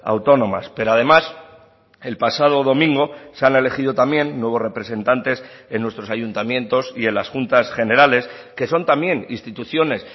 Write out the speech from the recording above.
autónomas pero además el pasado domingo se han elegido también nuevos representantes en nuestros ayuntamientos y en las juntas generales que son también instituciones